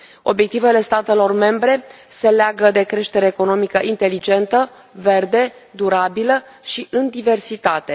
Obiectivele statelor membre se leagă de creștere economică inteligentă, verde, durabilă și în diversitate.